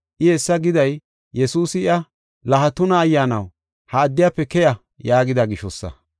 I hessa giday Yesuusi iya, “La ha tuna ayyaanaw, ha addiyafe keya” yaagida gishosa.